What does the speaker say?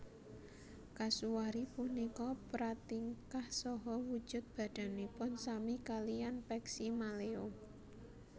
Kasuari punika pratingkah saha wujud badanipun sami kaliyan peksi maleo